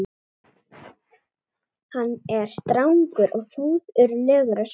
Hann er strangur og föður legur á svip.